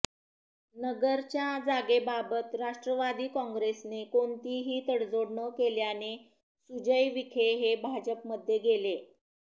नगरच्या जागेबाबत राष्ट्रवादी काँग्रेसने कोणतीही तडजोड न केल्याने सुजय विखे हे भाजपमध्ये गेले